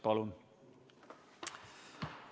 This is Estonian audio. Palun!